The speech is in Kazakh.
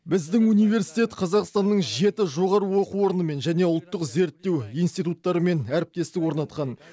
біздің университет қазақстанның жеті жоғары оқу орнымен және ұлттық зерттеу институттарымен әріптестік орнатқан